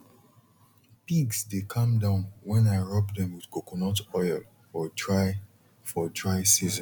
pigs dey calm down when i rub them with coconut oil for dry for dry season